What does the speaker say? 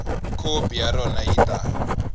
khopi ya rona yi ta